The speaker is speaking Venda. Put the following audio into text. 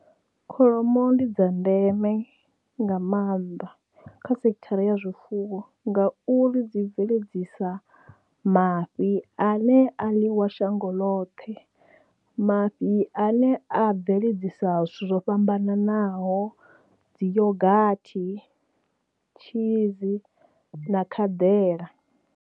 Kholomo ndi dza ndeme nga maanḓa kha sekhithara ya zwifuwo nga uri dzi bveledzisa mafhi a ne a ḽiwa shango ḽoṱhe mafhi ane a bveledzisa zwithu zwo fhambananaho dzi yogathi, tshizi na khadela.